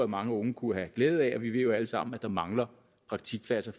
mange unge kunne have glæde af vi ved jo alle sammen at der mangler praktikpladser